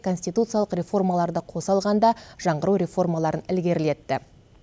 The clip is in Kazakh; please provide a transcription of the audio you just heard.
конституциялық реформаларды қоса алғанда жаңғыру реформаларын ілгерілетті